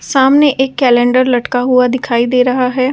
सामने एक कैलेंडर लटका हुआ दिखाई दे रहा है ।